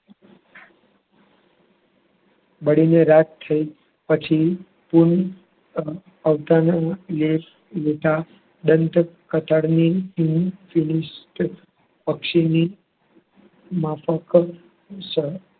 બળીને રાખ થઈ પછી ટૂન અવતારના યશ દંતકથાની અક્ષીની માપક સ